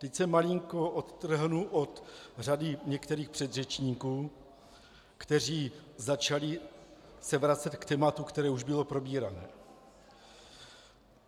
Teď se malinko odtrhnu od řady některých předřečníků, kteří začali se vracet k tématu, které už bylo probíráno.